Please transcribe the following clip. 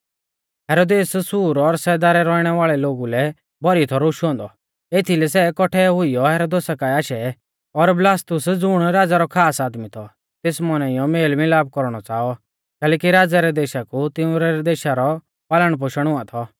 हेरोदेस सूर और सैदा रै रौइणै वाल़ै लोगु लै भौरी थौ रोशु औन्दौ एथीलै सै कौट्ठै हुइयौ हेरोदेसा काऐ आशै और बलास्तुस ज़ुण राज़ै रौ खास आदमी थौ तेस मौनाइयौ मेलमिलाप कौरणौ च़ाऔ कैलैकि राज़ै रै देशा कु तिंउरै देशा रौ पालणपोषण हुआ थौ